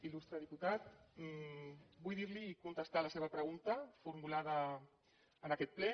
il·lustre diputat vull dir li i contestar a la seva pregunta formulada en aquest ple